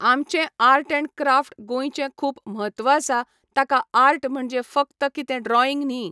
आमचें art and craft गोंयचें खूब म्हत्व आसा ताका आर्ट म्हणजें फकत कितें ड्रॉयींग न्ही.